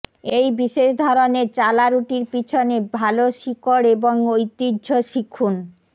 এই বিশেষ ধরনের চালা রুটির পিছনে ভাল শিকড় এবং ঐতিহ্য শিখুন